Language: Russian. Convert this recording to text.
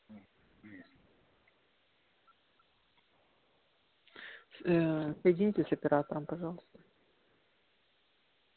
соедините с оператором пожалуйста